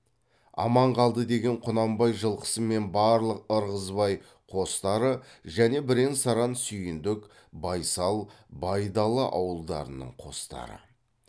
аман қалды деген құнанбай жылқысы мен барлық ырғызбай қостары және бірен саран сүйіндік байсал байдалы ауылдарының қостары